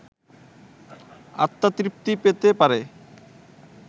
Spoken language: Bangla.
আত্মতৃপ্তি পেতে পারে